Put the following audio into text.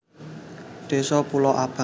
Désa Pulo Abang